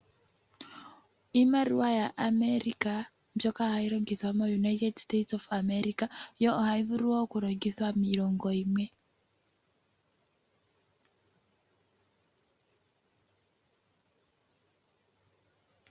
Iimaliwa yaAmerica mbyoka hayi longithwa moUnited State of America, yo ohayi vulu wo okulongithwa miilongo yimwe.